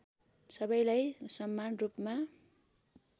सबैलाई समान रूपमा